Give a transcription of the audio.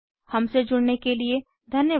हमसे जुड़ने के लिए धन्यवाद